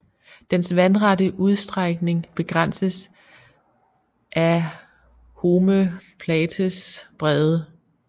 Dens vandrette udstrækning begrænses af home plates bredde